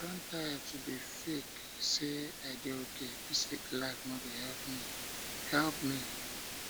i don tire to dey fake say i dey okay dis fake life no dey help me help me